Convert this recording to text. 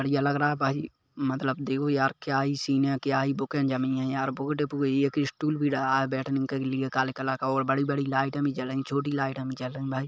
बढ़िया लग रहा है भाई मतलब देखो यार क्या ही सीन है क्या बुके जमी है यार बुक डिपो है एक स्टूल भी डला है बैठने के लिए काले कलर का और बड़ी-बड़ी लाइटें अभी जल रही है छोटी लाइटें भी जल रही भाई --